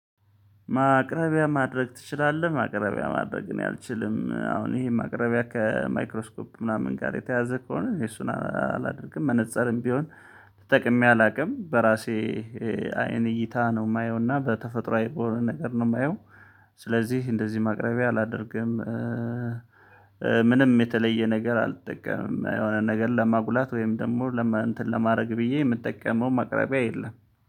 ማቅረቢያ ማድረግ ትችላለህ? ማቅረቢያ ማድረግ እኔ አልችልም አሁን ይሄ ማቅረቢያ ከማይክሮስኮፕ ምናምን ጋር የተያዘ ከሆነ እሱን አላደርግም። መነፀርም ቢሆን ተጠቅሜ አላውቅ። በራሴ አይን እይታ ነው የማየው እና በተፈጥሮ አይቦርን ነገር ነው የማየው ስለዚህ እንደዚህ ማቅረቢያ አላደርግም። ምንም የተለየ ነገር አልጠቀምም የሆነ ነገር ለማጉላት ወይም ደግሞ ለማን እንትን ለማድረግ ብዬ የምጠቀመው ማቅረቢያ የለም።